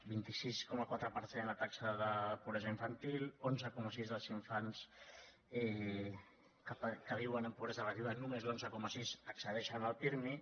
vint sis coma quatre per cent la taxa de pobresa infantil onze coma sis els infants que viuen en pobresa relativa només l’onze coma sis accedei·xen al pirmi